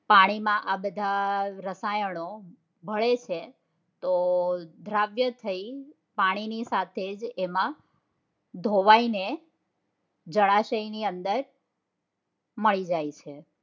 પાણીમાં આ બધા રસાયણો ભળે છે તો દ્રાવ્ય થઇ પાણી ની સાથે તેમાં ધોવાઈ ને જળાશય ની અંદર મળી જાય છે